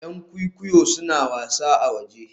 Yan kwikwiyo suna wasa a waje